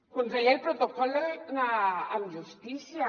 conseller el protocol amb justícia